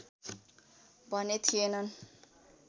भने थिएनन्